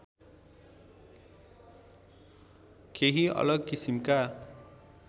केही अलग किसिमका